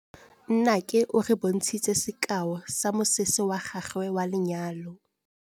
Nnake o re bontshitse sekaô sa mosese wa gagwe wa lenyalo.